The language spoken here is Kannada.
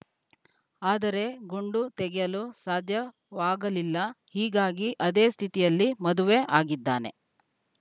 ಆದರೆ ಗುಂಡು ತೆಗೆಯಲು ಸಾಧ್ಯವಾಗಲಿಲ್ಲ ಹೀಗಾಗಿ ಅದೇ ಸ್ಥಿತಿಯಲ್ಲಿ ಮದುವೆ ಆಗಿದ್ದಾನೆ